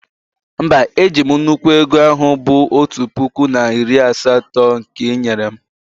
mba, eji'm nnukwu ego ahu bụ otu puku na iri asatọ nke ị nyere m